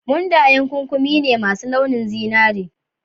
Mundayen ƙuƙumi ne masu launin zinari.